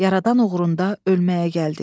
Yaradan uğrunda ölməyə gəldik.